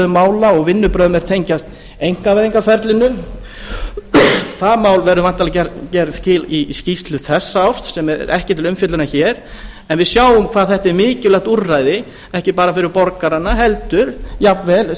mála og vinnubrögðum er tengjast einkavæðingarferlinu því máli verða væntanlega gerð skil í skýrslu þessa árs sem er ekki til umfjöllunar hér en við sjáum hvað þetta er mikilvægt úrræði ekki bara fyrir borgarana heldur jafnvel